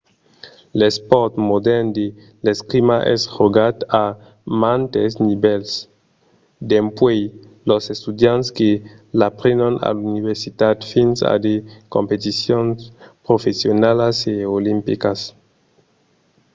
l'espòrt modèrn de l'escrima es jogat a mantes nivèls dempuèi los estudiants que l'aprenon a l'universitat fins a de competicions professionalas e olimpicas